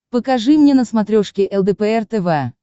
покажи мне на смотрешке лдпр тв